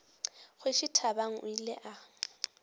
kgoši thabang o ile a